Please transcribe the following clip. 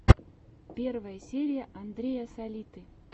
первая серия андрея салиты